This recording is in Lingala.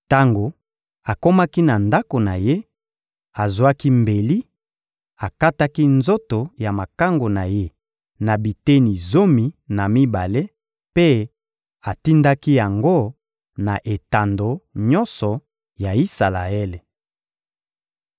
Tango akomaki na ndako na ye, azwaki mbeli, akataki nzoto ya makangu na ye na biteni zomi na mibale mpe atindaki yango na etando nyonso ya Isalaele.